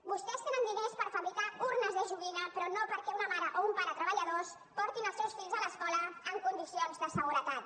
vostès tenen diners per fabricar urnes de joguina però no perquè una mare o un pare treballadors portin els seus fills a l’escola en condicions de seguretat